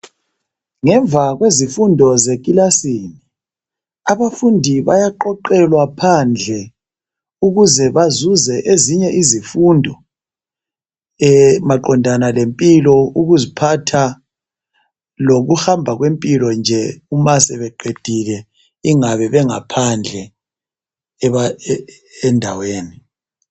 Ngemva kwezifundo zeclassini abantwana bayaqoqelwa phandle ukuze bafunde ezinye izifundo mayelana ngempilo ukuziphatha ukuhamba kwempilo nje uma sebeqedile umasebengaphandle endaweni